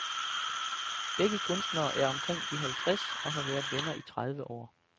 Begge kunstnere er omkring de halvtreds og har været venner i tredive år.